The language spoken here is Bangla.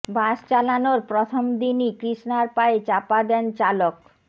বাস চালানোর প্রথম দিনই কৃষ্ণার পায়ে চাপা দেন চালক